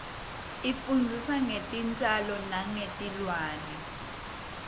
isifundzisa ngetitjalo nengetilwane